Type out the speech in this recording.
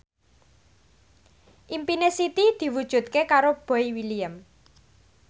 impine Siti diwujudke karo Boy William